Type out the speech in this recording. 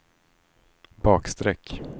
bakstreck